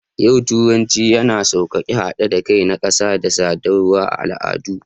A yau, turanci yana sauƙaƙe haɗin kai na ƙasa da sadarwar al'adu.